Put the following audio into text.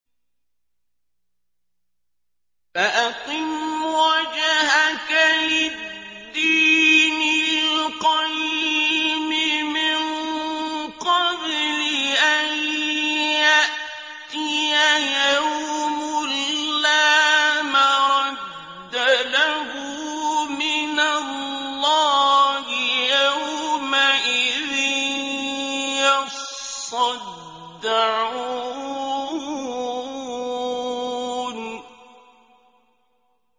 فَأَقِمْ وَجْهَكَ لِلدِّينِ الْقَيِّمِ مِن قَبْلِ أَن يَأْتِيَ يَوْمٌ لَّا مَرَدَّ لَهُ مِنَ اللَّهِ ۖ يَوْمَئِذٍ يَصَّدَّعُونَ